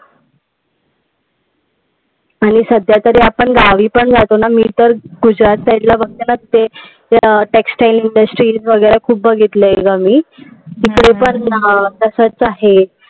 आणि सध्यातरी आपण गावी तरी जातो ना. मी तर गुजरात side ला बघते ना t exile Industries बघितले ग मी. तिकडे पण अं तसचं आहे.